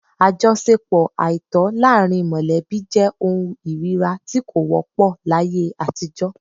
Àjọṣepọ àìtọ́ láàrín mọ̀lẹ́bí jẹ́ ohun ìríra tí kò wọ́pọ̀ láyé àtijọ́